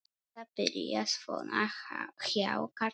Þetta byrjaði svona hjá Kalla.